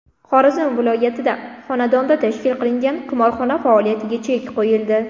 Xorazm viloyatida xonadonda tashkil qilingan qimorxona faoliyatiga chek qo‘yildi.